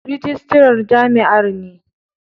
Rijistarar jami'ar ne.